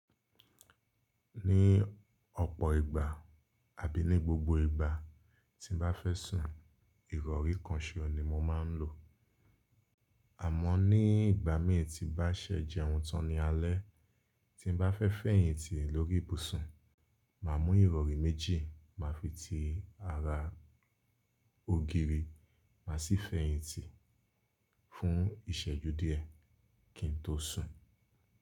Ní ọ̀pọ̀ ìgbà àbí ní gbogbo ìgbà tí n bá fẹ́ sùn, Ìrọ̀rí kan ṣò ni mo máa ń lò. Àmọ́ ní ìgbà mí tí bá ṣẹ̀ jẹun tán ní alẹ́, tí n bá fẹ́ fẹ̀yìntì lórí ìbùsùn, màá mú Ìrọ̀rí méjì, màá fi ti ara ógiri, màá sì fẹ̀yìntì fún ìṣẹ́jú díẹ̀ kí n tó sùn.